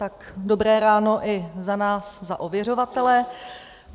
Tak dobré ráno i za nás, za ověřovatele.